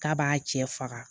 K'a b'a cɛ faga